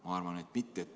Ma arvan, et mitte.